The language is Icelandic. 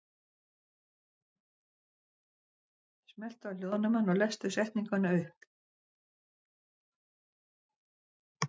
Elísabet: Borðið þið sjálfir kjötsúpu?